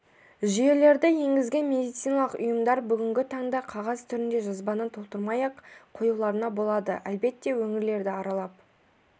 жүйелерді енгізген медициналық ұйымдар бүгінгі таңда қағаз түрінде жазбаны толтырмай-ақ қоюларына болады әлбетте өңірлерді аралап